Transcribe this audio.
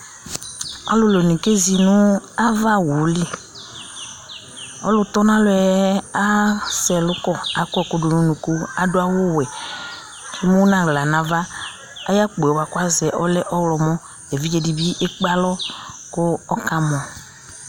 alòlò ni ke zi no ava owu li ɔlò tɔ n'alɔ yɛ asɛ ɛlu kɔ akɔ ɛkò do n'unuku adu awu wɛ k'emu n'ala n'ava ayi akpo yɛ kò azɛ ɔlɛ ɔwlɔmɔ evidze di bi ekpe alɔ kò ɔka mɔ